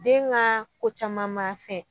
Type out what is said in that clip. Den ka ko caman ma fɛn.